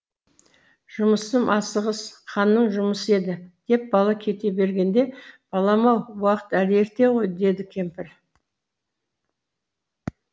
жұмысым асығыс ханның жұмысы еді деп бала кете бергенде балам ау уақыт әлі ерте ғой дейді кемпір